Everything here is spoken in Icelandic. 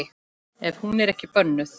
Ef hún er ekki bönnuð.